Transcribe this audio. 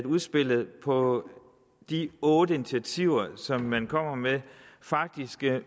udspillet på de otte initiativer som man kommer med faktisk